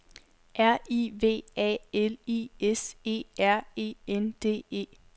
R I V A L I S E R E N D E